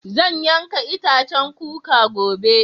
Zan yanka itacen koko gobe.